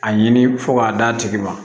A ɲini fo k'a d'a tigi ma